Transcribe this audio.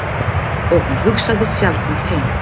Og hann hugsaði sjaldnar heim.